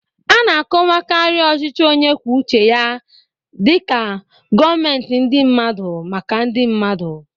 Ana-akọwakarị ochịchị onye kwụọ ụche ya dika gọmentị ndi mmadụ, maka ndi mmadụ.